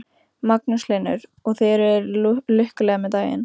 Magnús Hlynur: Og þið eruð lukkuleg með daginn?